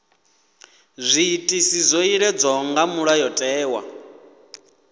zwiitisi zwo iledzwaho nga mulayotewa